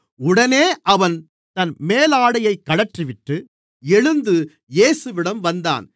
உடனே அவன் தன் மேலாடையை கழற்றிவிட்டு எழுந்து இயேசுவிடம் வந்தான்